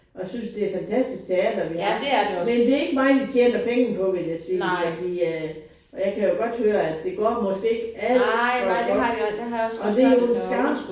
Og jeg synes det er et fantastisk teater vi har men det ikke mig de tjener penge vil jeg sige på fordi at og jeg kan jo godt høre det går måske ikke alt for godt og det jo en skam